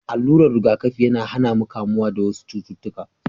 Alurar riga kafi yAna hAna mu kamuwa da wasu cututtuƙa